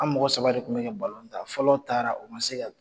An mɔgɔ saba de tun bɛ kɛ ta, fɔlɔ taara o ma se ka